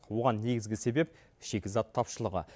бұған негізгі себеп шикізат тапшылығы